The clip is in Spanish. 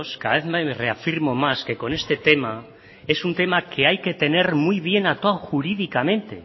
cada vez me reafirmo más que con este tema es un tema que hay que tener muy bien atado jurídicamente